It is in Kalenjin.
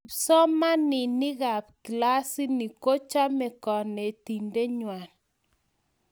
kipsomaninik kab klasini ko chome konetinte ngwak